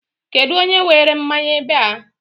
Kedụ onye were mmanya ebe a?